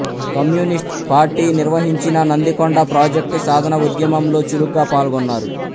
communist party నిర్వహించిన Nandikonda project సాధన ఉద్యమంలో చురుగ్గా పాల్గొన్నారు